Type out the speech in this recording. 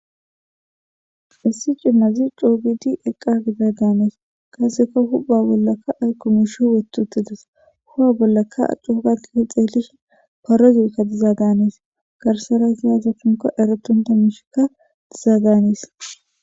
issi cimnazi coo gidi eqqa gida daanes kaseka hupa bollakka ayku mish wetutides huha bollakka accu hugatike xeelish parozikka diza daanis garsera ziyaza pinko eretunta miishikka diza daanes